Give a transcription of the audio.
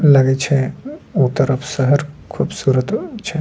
लगे छै उ तरफ शहर खूबसूरत छ --